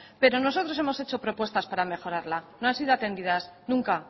pero nosotros hemos hecho propuestas para mejorarla no han sido atendidas nunca